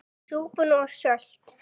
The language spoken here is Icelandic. Súpan of sölt!